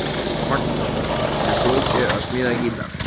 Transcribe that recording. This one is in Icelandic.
Magnús: Er flókið að smíða gítar?